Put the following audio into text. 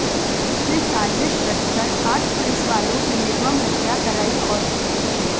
उसने साजिश रचकर आठ पुलिसवालों की निर्मम हत्या कराई और की थी